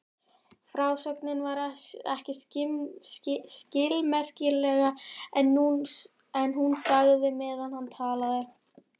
Frásögnin var ekki skilmerkileg en hún þagði meðan hann talaði.